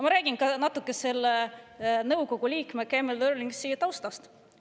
Ma räägin natuke ka selle nõukogu liikme Camiel Eurlingsi taustast.